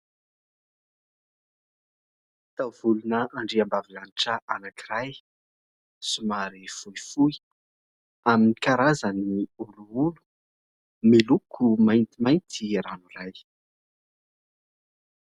taovolon' andriambavy lanitra anakiray somary fohifohy amin'ny karazany olioly, miloko maintimainty ranoray.